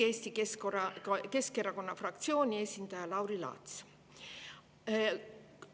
Eesti Keskerakonna fraktsiooni esindaja Lauri Laats.